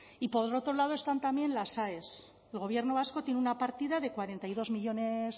y por otro lado están también las aes el gobierno vasco tiene una partida de cuarenta y dos millónes